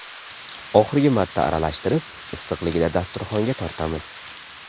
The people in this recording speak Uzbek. Oxirgi marta aralashtirib, issiqligida dasturxonga tortamiz.